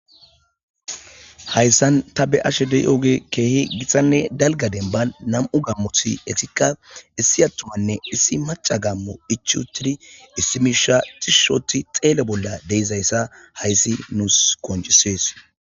Hayssan ta be'ashe de'iyoogey keehi gitanne dalgga dembban nam'u gaammoti etikka issi attumanne issi macca gaammoy ichchi uttidi issi miishsha tishshi oottidi xeelo bolla de'izayssa hayssi nuussi qonccisees.